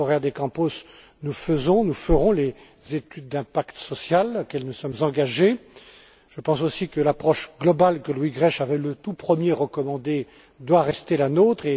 M. Correia de Campos, nous faisons et nous ferons les études d'impact social auxquelles nous nous sommes engagés. Je pense aussi que l'approche globale que Louis Grech avait, le tout premier, recommandé doit rester la nôtre.